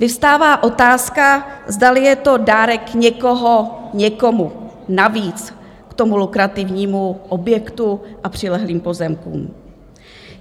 Vyvstává otázka, zdali je to dárek někoho někomu navíc k tomu lukrativnímu objektu a přilehlým pozemkům.